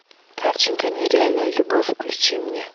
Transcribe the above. картинка нереальная любовь включи мне